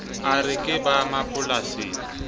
a re ke ba mapolasing